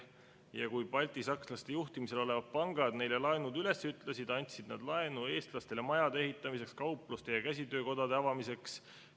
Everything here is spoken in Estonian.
Ja kui baltisakslaste juhtimisel olevad pangad neile laenud üles ütlesid, andsid nad laenu eestlastele majade ehitamiseks ning kaupluste ja käsitöökodade avamiseks.